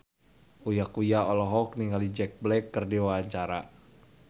Uya Kuya olohok ningali Jack Black keur diwawancara